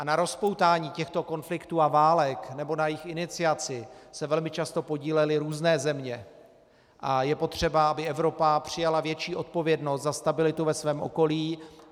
A na rozpoutání těchto konfliktů a válek nebo na jejich iniciaci se velmi často podílely různé země a je potřeba, aby Evropa přijala větší odpovědnost za stabilitu ve svém okolí.